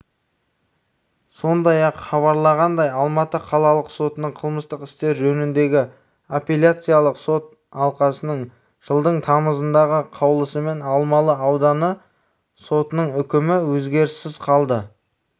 сондай-ақ хабарланғандай алматы қалалық сотының қылмыстық істер жөніндегі апелляциялық сот алқасының жылдың тамызындағы қаулысымен алмалы ауданы сотының үкімі өзгеріссіз қалды